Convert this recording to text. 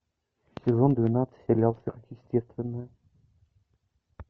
сезон двенадцать сериал сверхъестественное